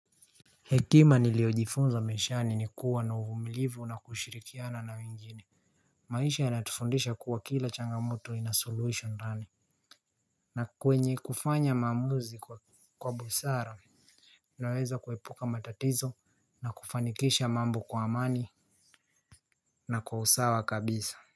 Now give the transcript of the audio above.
Hekima niliojifunza maishani nikuwa na ufumilivu na kushirikiana na wengine. Maisha yanatufundisha kuwa kila changamoto inasuluhisho ndani kwenye kufanya maamusi kwa busara. Naweza kuepuka matatizo na kufanikisha mambo kwa amani na kwa usawa kabisa.